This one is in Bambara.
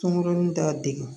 Cɔngɔn t'a degun